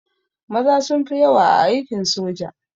Maza suka fi yawa a aikin soja